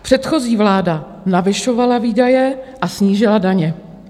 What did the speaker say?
Předchozí vláda navyšovala výdaje a snížila daně.